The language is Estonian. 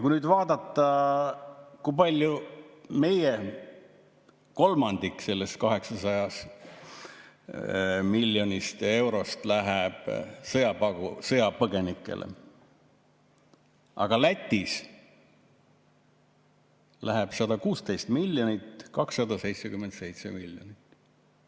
Kui nüüd vaadata, kui palju: meil kolmandik sellest 800 miljonist eurost läheb sõjapõgenikele, aga Lätis läheb 116 miljonit, 277 miljonit.